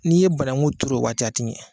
N'i ye banagun turu o waati a ti ɲɛ.